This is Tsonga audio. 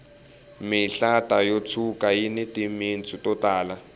mihlata yo tshuka yini timitsu to tala